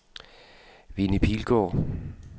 Winnie Pilgaard